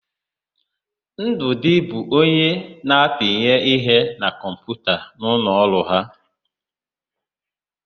Ndụdị bụ onye na-apinye ihe na kọmputa n'ụlọ ọrụ ha.